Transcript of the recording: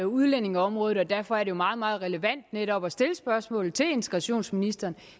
udlændingeområdet og derfor er det meget meget relevant netop at stille spørgsmålet til integrationsministeren